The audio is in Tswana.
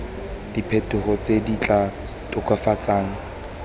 diphetogo tse di tla tokafatsang